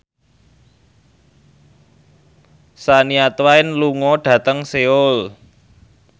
Shania Twain lunga dhateng Seoul